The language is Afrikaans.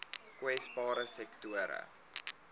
kwesbare sektore